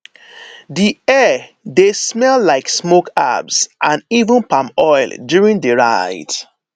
di air dey smell like smoke herbs and even palm oil during di rite